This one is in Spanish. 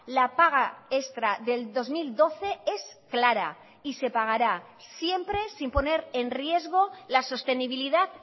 la paga extra del dos mil doce es clara y se pagará siempre sin poner en riesgo la sostenibilidad